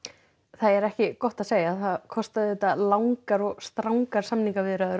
það er ekki gott að segja kostaði langar og strangar samningaviðræður